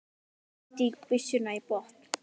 Ég stíg byssuna í botn.